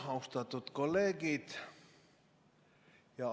Austatud kolleegid!